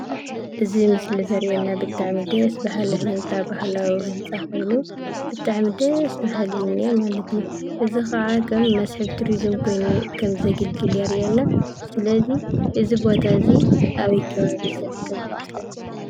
እዚ ምሰሊ ዘሪአና ብጣዓሚ ደስ ባህሊ ህንፃ ባህላዊ ህንፃ ኮይኑ፤ ብጣዕሚ ደስስስ... በሃሊ እዩ እኒአ ማለት እዩ፡፡ እዚ ኸዓ ከም መስሕብ ቱሪዝም ኾይኑ ከም ዘገልግል የሪአና፡፡ ስለዚ እዚ ቦታ እዚ አበይ ከባቢ ዝርከብ ይመስለኩም?